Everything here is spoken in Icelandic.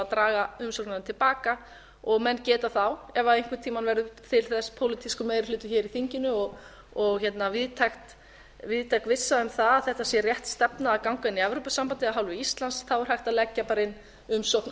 draga umsóknina til baka og menn geta þá ef einhvern tímann verður til þess pólitískur meiri hluti hér í þinginu og víðtæk vissa um að þetta sé rétt stefna að ganga inn í evrópusambandið af hálfu íslands er hægt að leggja bara umsókn á